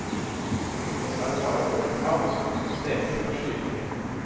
Rundt oss er det bare åpent hav og sol som steker fra skyfri himmel.